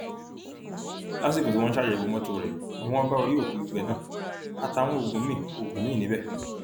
lásìkò tí wọn ń ṣàyẹwò mọtò rẹ ni wọn bá orí òkú gbígbẹ náà àtàwọn oògùn míín oògùn míín níbẹ